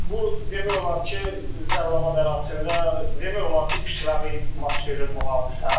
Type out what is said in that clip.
Bu demək olar ki, Cəlilabad ərazisində demək olar ki, kütləvi baş verir bu hadisə.